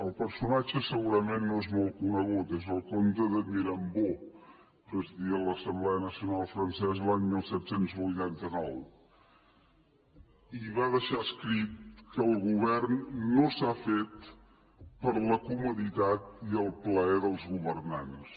el personatge segurament no és molt conegut és el comte de mirabeau presidia l’assemblea nacional francesa l’any disset vuitanta nou i va deixar escrit que el govern no s’ha fet per a la comoditat i el plaer dels governants